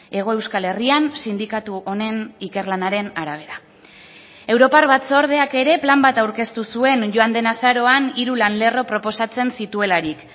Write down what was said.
hego euskal herrian sindikatu honen ikerlanaren arabera europar batzordeak ere plan bat aurkeztu zuen joan den azaroan hiru lan lerro proposatzen zituelarik